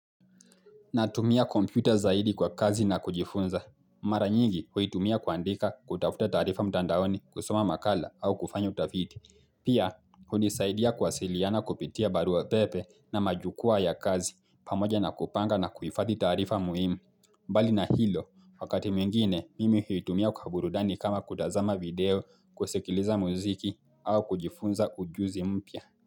Natumia kompyuta zaidi kwa kazi na kujifunza. Mara nyingi huitumia kuandika kutafuta tarifa mtandaoni kusoma makala au kufanya utafiti. Pia, hunisaidia kuwasiliana kupitia barua pepe na majukwa ya kazi pamoja na kupanga na kuhifadhi taarifa muhimu. Mbali na hilo, wakati mwingine mimi huitumia kukaburudani kama kutazama video kusekiliza muziki au kujifunza ujuzi mpya.